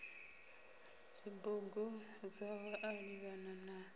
dzibugu dzawe a livhana na